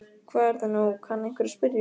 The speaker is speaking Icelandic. Hvað er það nú, kann einhver að spyrja.